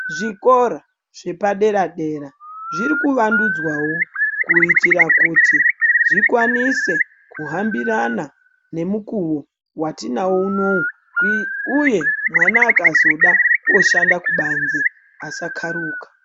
Zvikora zvepadera-dera zvirikuwandudzwawo kuitira kuti zvikwanise kuhambirana ngemukuwo watinawo unowu uye mwana akazoda kushanda kubanzi asakharuka.